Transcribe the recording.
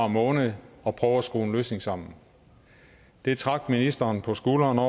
måned og prøve at skrue en løsning sammen det trak ministeren på skuldrene